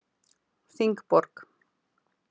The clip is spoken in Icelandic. Þingborg